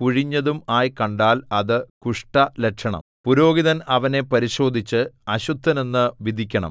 കുഴിഞ്ഞതും ആയി കണ്ടാൽ അത് കുഷ്ഠലക്ഷണം പുരോഹിതൻ അവനെ പരിശോധിച്ച് അശുദ്ധനെന്നു വിധിക്കണം